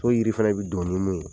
So yiri fana bɛ don ni mun ye